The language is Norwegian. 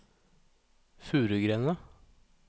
Furugrenda